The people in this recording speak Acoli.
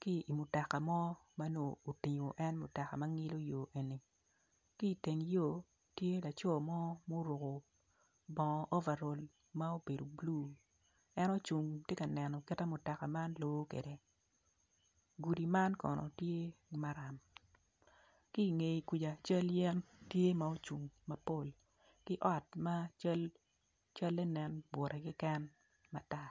ki imutoka mo ma otingo en mutoka ma nyilo yo ni kiteng yo tye laco mo ma oruko bongo overal ma obedo blue en ocung tye ka neno kita mutoka man lor kwede gudi man kono tye maram kinge kuca cal yen tye ma ocung mapol ki ot ma cale nen bute keken matar.